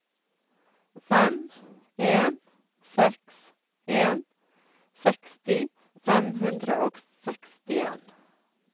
fem en seks en seksti fem hundre og sekstien